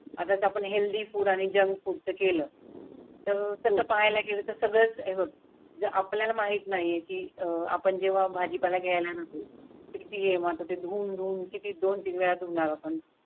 आता आपण healthy food आणि जंक फुडचं केलं. तर तसं पाहायला गेलं तर सगळं आपल्याला माहीत नाही की अह आपण जेव्हा भाजीपाला घ्यायला ना तुम्ही किती हे माते धून धून किती वेळा धूनर आपण.